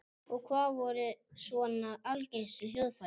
Við þetta losnar mikil orka og líkamshitinn eykst.